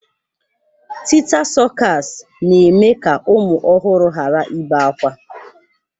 Tịta sọkas na-eme ka ụmụ ọhụrụ hara ibe akwa.